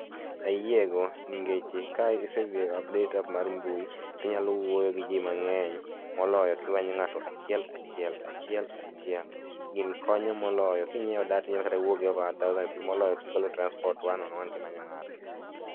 ayiego ningeche ka isedhi e update mar mbui to inyalo wuoyo giji mang'eny moloyo kimanyo ng'ato achiel achiel achiel achiel gini moloyo kingiewo data inyalo inyalo kata wuoyo gi over a thousand moloyo gikolo transport one on one kimanyo ng'ato